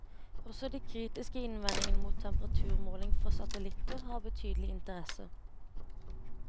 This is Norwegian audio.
Også de kritiske innvendingene mot temperaturmåling fra satellitter, har betydelig interesse.